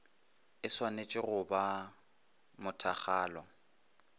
e šwanetše go ba mothakgalo